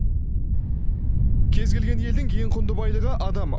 кез келген елдің ең құнды байлығы адам